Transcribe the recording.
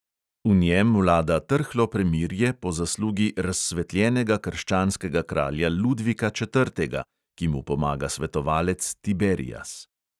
V njem vlada trhlo premirje po zaslugi razsvetljenega krščanskega kralja ludvika četrtega, ki mu pomaga svetovalec tiberias.